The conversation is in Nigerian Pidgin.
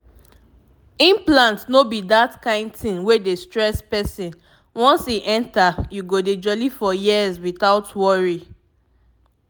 implant no be that kind thing wey dey stress person once e enter you go dey jolly for years without worry pause